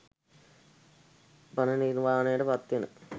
පරණිර්වාණයට පත්වෙන්න